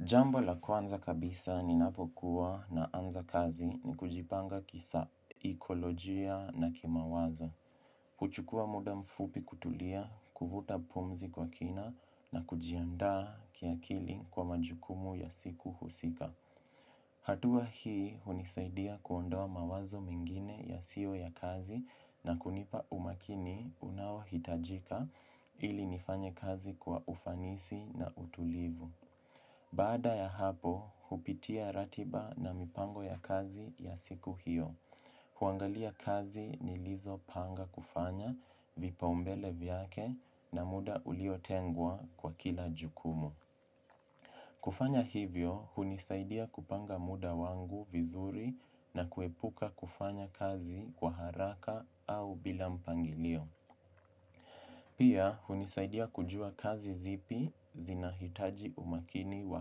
Jambo la kwanza kabisa ninapokuwa naanza kazi ni kujipanga kisaikolojia na kimawazo. Kuchukua muda mfupi kutulia, kuvuta pumzi kwa kina na kujiandaa kiakili kwa majukumu ya siku husika. Hatua hii unisaidia kuondoa mawazo mengine ya io ya kazi na kunipa umakini unaohitajika ili nifanye kazi kwa ufanisi na utulivu. Baada ya hapo, hupitia ratiba na mipango ya kazi ya siku hiyo, huangalia kazi nilizo panga kufanya vipaumbele vyake na muda ulio tengwa kwa kila jukumu. Kufanya hivyo, hunisaidia kupanga muda wangu vizuri na kuepuka kufanya kazi kwa haraka au bila mpangilio. Pia, hunisaidia kujua kazi zipi zinahitaji umakini wa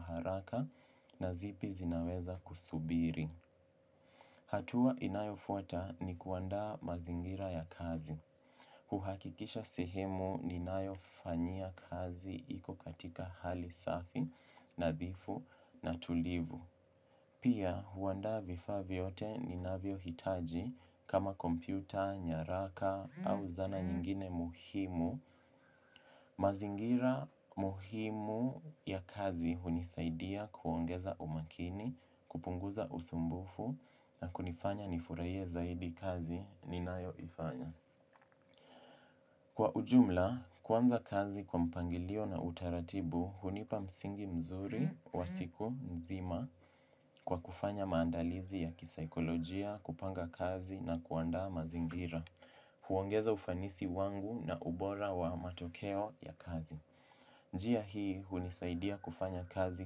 haraka na zipi zinaweza kusubiri. Hatua inayo fuata ni kuandaa mazingira ya kazi. Huhakikisha sehemu ninayo fanyia kazi iko katika hali safi, nadhifu, na tulivu. Pia huandaa vifaa vyote ni navyo hitaji kama kompyuta, nyaraka au zana nyingine muhimu. Mazingira muhimu ya kazi hunisaidia kuongeza umakini, kupunguza usumbufu na kunifanya nifurahie zaidi kazi ninayo ifanya. Kwa ujumla, kuanza kazi kwa mpangilio na utaratibu, hunipa msingi mzuri wa siku nzima kwa kufanya maandalizi ya kisaikolojia, kupanga kazi na kuandaa mazingira. Huongeza ufanisi wangu na ubora wa matokeo ya kazi. Njia hii, hunisaidia kufanya kazi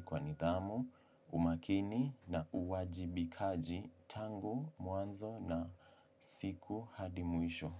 kwa nidhamu, umakini na uwajibikaji tangu mwanzo na siku hadi mwisho.